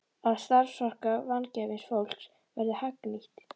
Að starfsorka vangefins fólks verði hagnýtt.